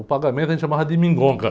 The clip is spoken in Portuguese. O pagamento a gente chamava de.